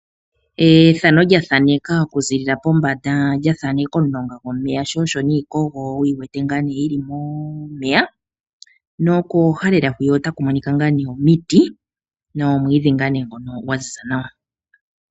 Ethano lyathaneka okuzilila pombanda, lya thaneka omulonga gwomeya sho, osho niikogo wuyi wete ngaa nee yili momeya, nokooha lela hwiya otaku monika ngaa nee omiti nomwiidhi ngaa nee ngono gwa ziza nawa.